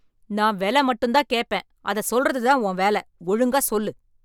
நான் வெல மட்டும் தான் கேட்பேன். அத சொல்றது தான் உன் வேல? ஒழுங்கா சொல்லு ?